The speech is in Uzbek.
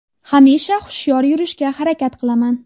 Hamisha hushyor yurishga harakat qilaman.